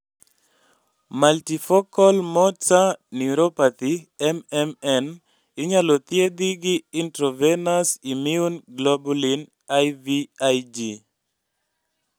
Multifocal motor neuropathy (MMN) inyalo thiedhi gi intravenous immune globulin (IVIG)